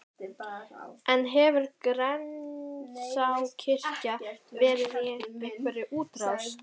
En hefur Grensáskirkja verið í einhverri útrás?